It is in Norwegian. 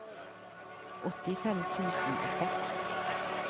åttifem tusen og seks